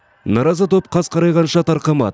наразы топ қас қарайғанша тарқамады